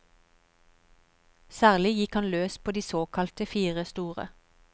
Særlig gikk han løs på de såkalte fire store.